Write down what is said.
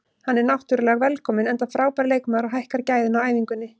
Hann er náttúrulega velkominn enda frábær leikmaður og hækkar gæðin á æfingunni.